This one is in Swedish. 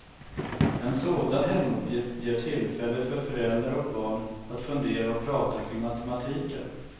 En sådan hemuppgift ger tillfälle för föräldrar och barn att fundera och prata kring matematiken.